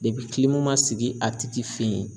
ma sigi a tigi fe yen